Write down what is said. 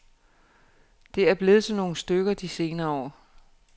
Det er blevet til nogle stykker de senere år.